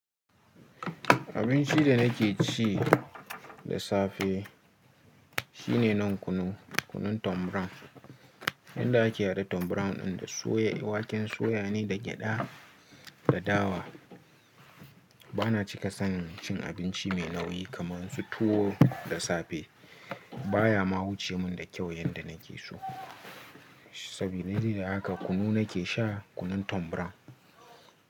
Abinci da nake ci da safe shine nan kunu, kunun tom brown. Yanda ake haɗa tom brown ɗin da soya, waken soya ne da gyada da dawa. Bana cika son cin abinci mai nauyi kamar su tuwo da safe. Ba ya ma wuce mun da kyau yanda nake so. Saboda haka kunu nake sha, kunun tom brown.